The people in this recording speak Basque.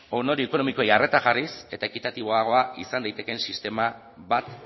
ondorio ekonomikoei arreta jarriz eta ekitatiboagoa izan daitekeen sistema bat